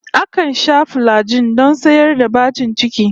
Akan sha filajin don tsayar da bacin ciki